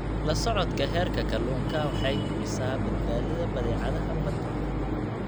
La socodka heerka kalluunka waxa ay hubisaa badbaadada badeecadaha badda.